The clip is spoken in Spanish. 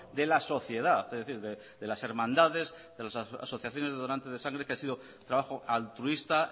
de la sociedad es decir de las hermandades de las asociaciones de donantes de sangre que ha sido trabajo altruista